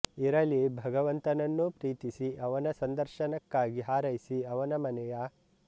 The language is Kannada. ಇರಲಿ ಭಗವಂತನನ್ನು ಪ್ರೀತಿಸಿ ಅವನ ಸಂದರ್ಶನಕ್ಕಾಗಿ ಹಾರೈಸಿ ಅವನ ಮನೆಯ